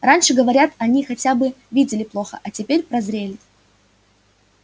раньше говорят они хотя бы видели плохо а теперь прозрели